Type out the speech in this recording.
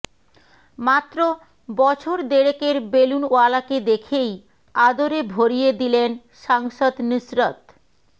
মাত্র বছর দেড়েকের বেলুনওয়ালাকে দেখেই আদরে ভরিয়ে দিলেন সাংসদ নুসরত